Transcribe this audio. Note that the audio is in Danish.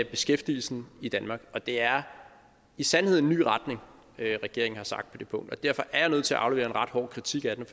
beskæftigelsen i danmark og det er i sandhed en ny retning regeringen står for det punkt og derfor er jeg nødt til at aflevere en ret hård kritik af den